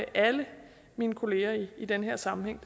og alle mine kollegaer i den her sammenhæng